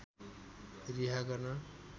रिहा गर्न